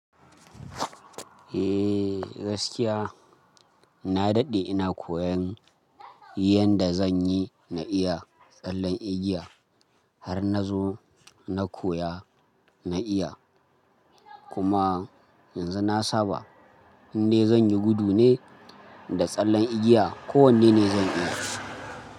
Eh gaskiya na daɗe ina koyan yanda zan yi na iya tsallen igiya har na zo na koya na iya kuma yanzu na saba inde zan yi gudu ne da tsallen igiya ko wanne ne zan iya.